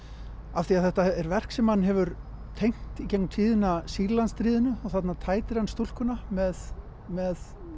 af því að þetta er verk sem hann hefur tengt í gegnum tíðina þarna tætir hann stúlkuna með með